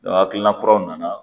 hakilina kuraw nana